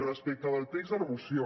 respecte del text de la moció